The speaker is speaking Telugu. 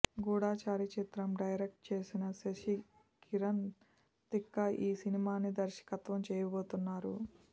గూఢచారి చిత్రం డైరక్ట్ చేసిన శశికిరణ్ తిక్క ఈ సినిమాని దర్శకత్వం చేయబోతున్నారు